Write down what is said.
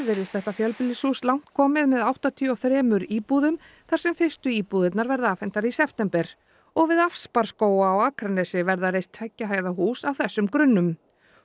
virðist þetta fjölbýlishús langt komið með áttatíu og þremur íbúðum þar sem fyrstu íbúðirnar verða afhentar í september og við Asparskóga á Akranesi verða reist tveggja hæða hús á þessum grunnum